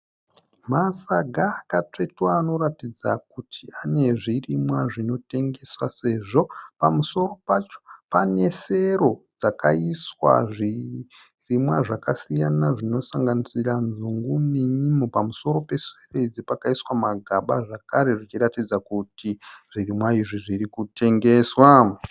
Masaga akatsvetwa anoratidza kuti anezvirimwa zvinokutengeswa sezvo pamusoro pacho pane sero dzakaiswa zvirimwa zvakasiyana zvinosanganisira nzungu nenyimo. Pamusoro pesero idzi pakaiswa magaba zvakare zvichiratidza kuti zvirimwa izvi zvirikutengeswa.